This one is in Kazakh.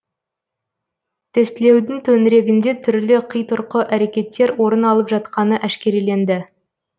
тестілеудің төңірегінде түрлі қитұрқы әрекеттер орын алып жатқаны әшкереленді